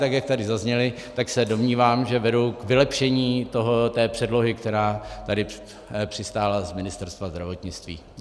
Tak jak tady zazněly, tak se domnívám, že vedou k vylepšení té předlohy, která tady přistála z Ministerstva zdravotnictví.